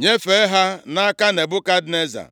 nyefee ha nʼaka Nebukadneza.